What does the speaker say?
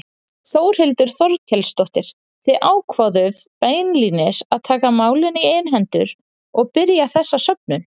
Þórhildur Þorkelsdóttir: Þið ákváðuð beinlínis að taka málin í eigin hendur og byrja þessa söfnun?